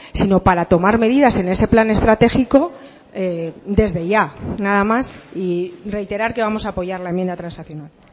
sino para tomar medidas en ese plan estratégico desde ya nada más y reiterar que vamos a apoyar la enmienda transaccional